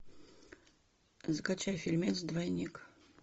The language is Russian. скачай фильмец двойник